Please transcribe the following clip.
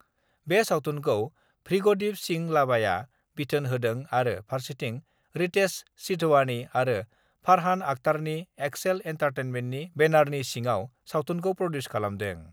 बे सावथुनखौ भृगदिप सिं लाबाया बिथोन होदों आरो फारसेथिं रितेश सिधवानि आरो फरहान अख्तरनि एक्सेल एन्टारटेमेन्टनि बेनारनि सिङाव सावथुनखौ प्रडिउस खालामदों।